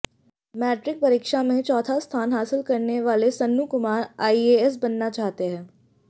matric परीक्षा में चौथा स्थान हासिल करने वाले सन्नू कुमार आईएएस बनना चाहते हैं